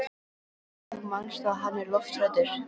Pabbi, þú manst að hann er lofthræddur.